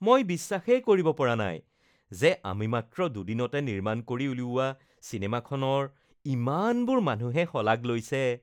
মই বিশ্বাসেই কৰিব পৰা নাই যে আমি মাত্ৰ দুদিনতে নিৰ্মাণ কৰি উলিওৱা চিনেমাখনৰ ইমানবোৰ মানুহে শলাগ লৈছে